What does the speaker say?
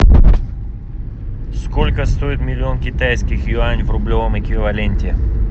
сколько стоит миллион китайских юань в рублевом эквиваленте